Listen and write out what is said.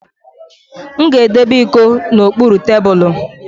M ga-edebe iko n'okpuru tebulu